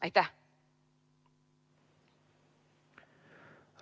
Aitäh!